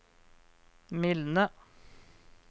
mildne